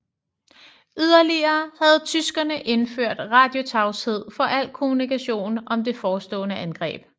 Yderligere havde tyskerne indført radiotavshed for al kommunikation om det forestående angreb